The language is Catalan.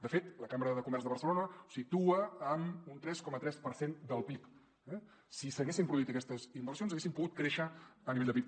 de fet la cambra de comerç de barcelona ho situa en un tres coma tres per cent del pib eh si s’haguessin produït aquestes inversions haguéssim pogut créixer a nivell de pib